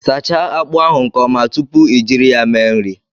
Sachaa akpu ahu nke Oma tupu I jiri ya mee nri